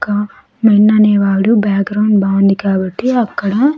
ఇక మెన్ అనేవాడు బ్యాగ్రౌండ్ బాగుంది కాబట్టి అక్కడ.